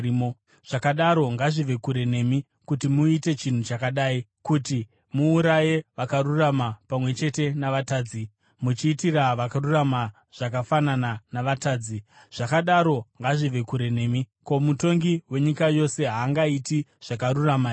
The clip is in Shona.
Zvakadaro ngazvive kure nemi kuti muite chinhu chakadai, kuti muuraye vakarurama pamwe chete navatadzi, muchiitira vakarurama zvakafanana navatadzi. Zvakadaro ngazvive kure nemi! Ko, mutongi wenyika yose haangaiti zvakarurama here?”